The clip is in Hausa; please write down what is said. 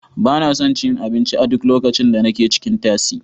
Ba na son cin abinci a duk lokacin da nake cikin tasi.